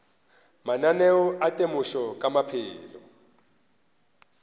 mananeo a temošo ka maphelo